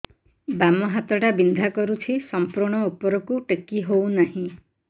ବାମ ହାତ ଟା ବିନ୍ଧା କରୁଛି ସମ୍ପୂର୍ଣ ଉପରକୁ ଟେକି ହୋଉନାହିଁ